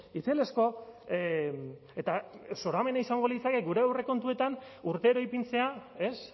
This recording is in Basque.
itzelezko eta zoramena izango litzake gure aurrekontuetan urtero ipintzea ez